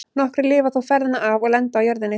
Nokkrir lifa þó ferðina af og lenda á jörðinni.